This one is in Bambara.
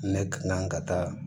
Ne ka kan ka taa